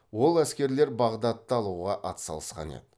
ол әскерлер бағдатты алуға атсалысқан еді